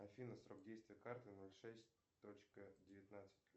афина срок действия карты ноль шесть точка девятнадцать